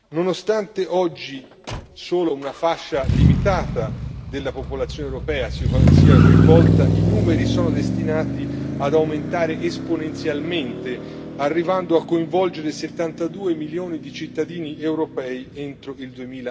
Nonostante oggi solo una fascia limitata della popolazione europea sia coinvolta, i numeri sono destinati ad aumentare esponenzialmente, arrivando a coinvolgere 72 milioni di cittadini europei entro il